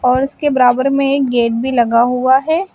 और उसके बराबर में एक गेट भी लगा हुआ है।